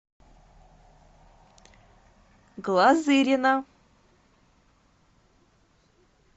глазырина